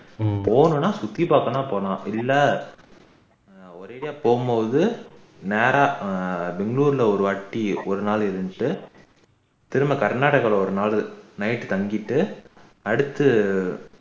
போறன்னா சுத்தி பாக்கன்னா போகலாம் இல்ல ஒரு area போகும் போது நேரா ஆஹ் திண்நூருல ஒருவாட்டி ஒருநாள் இருந்துட்டு திரும்ப கர்நாடகால ஒரு நாள் night தங்கிட்டு அடுத்து